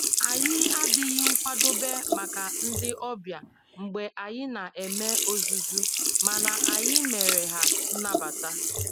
Anyị adịghị nkwadobe maka ndị ọbịa mgbe anyị na eme ozuzu, mana anyị mere ha nnabata